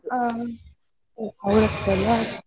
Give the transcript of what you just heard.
ಆ ಅವ್ರತ್ರ ನಾ.